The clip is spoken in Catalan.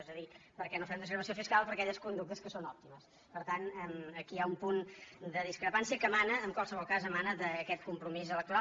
és a dir per què no fem desgravació fiscal per a aquelles conductes que són òptimes per tant aquí hi ha un punt de discrepància que emana en qualsevol cas d’aquest compromís electoral